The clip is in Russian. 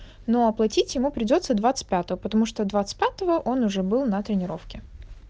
ну оплатить ему придётся двадцать пятого потому что двадцать пятого он уже был на тренировке